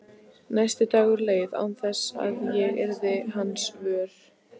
Næsti dagur leið án þess að ég yrði hans vör.